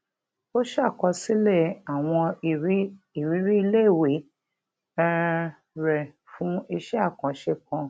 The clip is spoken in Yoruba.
ó ṣàkọsílè àwọn ìrírí iléèwé um rẹ fún iṣé àkànṣe kan